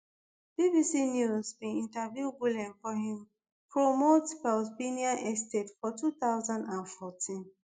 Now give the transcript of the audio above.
bbc news bin interview gulen for im remote estate for two thousand and fourteen